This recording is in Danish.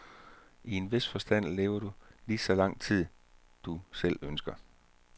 I en vis forstand lever du lige så lang tid, du selv ønsker.